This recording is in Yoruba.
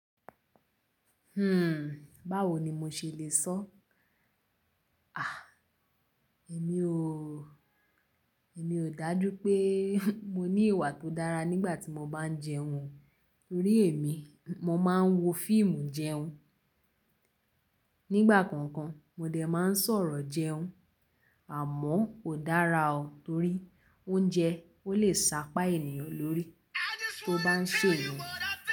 Báwo ni mo ṣe le sọ? Èmi ò, èmi ò dájú pé mo ní ìwà tó dára nígbà tí mo bá ń jẹun. Torí èmi, mo máa ń wo fíìmù jẹun. Nígbà kankan, mo dẹ̀ máa ń sọ̀rọ̀ jẹun. Àmọ́ kò dára o torí oúnjẹ ó lè sápa ènìyàn lórí tó bá ń ṣe èyí.